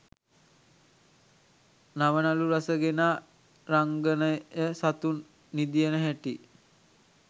නවනළු රස ගෙනා රංගනයසතුන් නිදියන හැටි